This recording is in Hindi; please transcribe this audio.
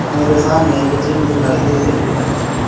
मेरे सामने एक जिम दिखाई दे रही है।